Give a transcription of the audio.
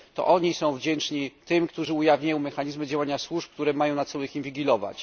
To oni są wdzięczni tym, którzy ujawniają mechanizmy działania służb, które mają na celu ich inwigilować.